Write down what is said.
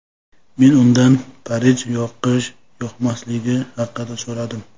Men undan Parij yoqish-yoqmasligi haqida so‘radim.